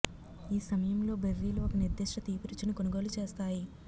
ఈ సమయంలో బెర్రీలు ఒక నిర్దిష్ట తీపి రుచిని కొనుగోలు చేస్తాయి